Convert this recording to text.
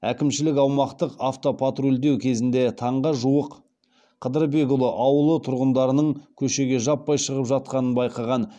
әкімшілік аумақты автопатрульдеу кезінде таңға жуық қыдырбекұлы ауылы тұрғындарының көшеге жаппай шығып жатқанын байқаған